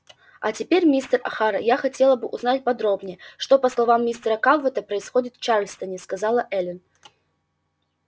а теперь мистер охара я хотела бы узнать подробнее что по словам мистера калверта происходит в чарльстоне сказала эллин